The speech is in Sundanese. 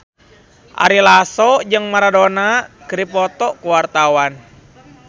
Ari Lasso jeung Maradona keur dipoto ku wartawan